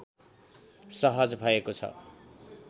सहज भएको छ